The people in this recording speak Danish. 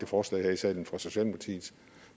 forslag her i salen fra socialdemokratiets